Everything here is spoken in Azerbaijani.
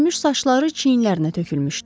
Hörülmüş saçları çiyinlərinə tökülmüşdü.